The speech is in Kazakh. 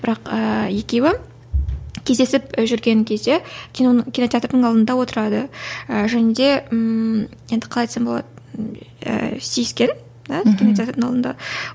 бірақ ыыы екеуі кездесіп жүрген кезде киноның кинотеатрдың алдында отырады і және де ммм енді қалай айтсам болады ііі сүйіскен і кинотеатрдың алдында